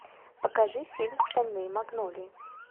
покажи фильм стальные магнолии